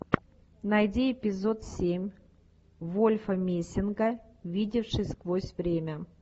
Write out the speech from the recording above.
найди эпизод семь вольфа мессинга видевший сквозь время